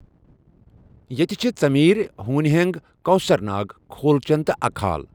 ییٚتہِ چھ ژِمیر چھ ہوٗنۍ ہینٛگ چھ کۄثر ناگ چھ کھولچن چھ اکہٕ حال چھ